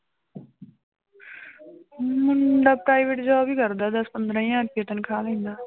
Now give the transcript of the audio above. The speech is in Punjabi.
ਮੁੰਡਾ private job ਹੀ ਕਰਦਾ ਦਸ ਪੰਦਰਾਂ ਹਜ਼ਾਰ ਰੁਪਈਆ ਤਨਖਾਹ ਲੈਂਦਾ